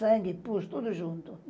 Sangue, pus, tudo junto.